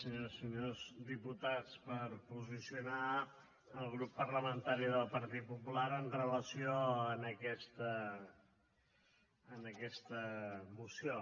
senyores i senyors diputats per posicionar el grup parlamentari del partit popular amb relació a aquesta moció